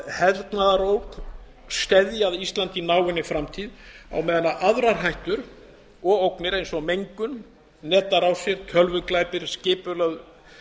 hernaðarógn steðji að íslandi í náinni framtíð á meðan aðrar hættur og ógnir eins og mengun netárásir tölvuglæpir skipulögð